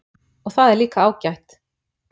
Og það er líka ágætt